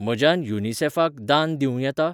म्हज्यान युनिसेफाक दान दिवं येता?